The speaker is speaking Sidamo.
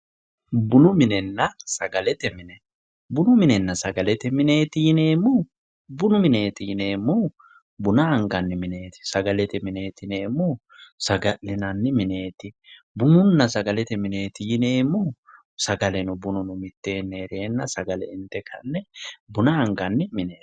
Bunu minenna sagalete mine, bunu minenna sagalete mineti yineemmohu, bunu mineti yineemmohu buna anganni mineti, sagalete mineti yineemmohu saga'linanni mineti, bununna sagalete mineti yineemmohu sagalete mine, bunu minenna sagalete mine yineemmohu buna anganni mineti.